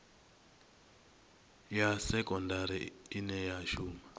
ya sekondari ine ya shuma